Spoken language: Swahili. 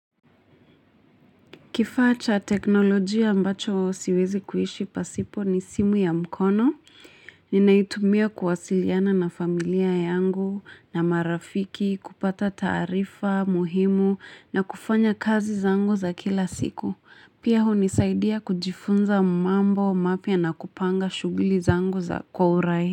Kifaa cha kiteknolojia ambacho siezi kuishi pasipo ni simu ya mkono ninaitumia kuwasiliana na familia yangu na marafiki, kupata taarifa muhimu na kufanya kazi zangu za kila siku. Pia hunisaidia kujifunza mambo mapya na kupanga shughuli zangu za kwa urai.